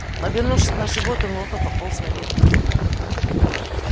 повернувшись на живот он ловко пополз наверх